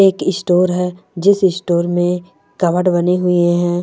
एक स्टोर है जिस स्टोर मे कपबोर्ड बनी हुई है।